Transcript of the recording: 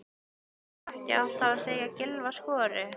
Þarf ekki alltaf að segja að Gylfi skori?